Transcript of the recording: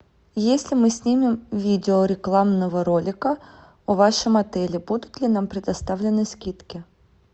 если мы снимем видео рекламного ролика в вашем отеле будут ли нам предоставлены скидки